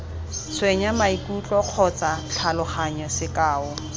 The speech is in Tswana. tshwenya maikutlo kgotsa tlhaloganyo sekao